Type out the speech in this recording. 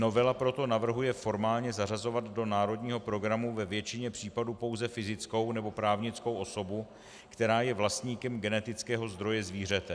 Novela proto navrhuje formálně zařazovat do národního programu ve většině případů pouze fyzickou nebo právnickou osobu, která je vlastníkem genetického zdroje zvířete.